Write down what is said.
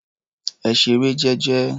Ẹ ṣeré jẹ́jẹ́.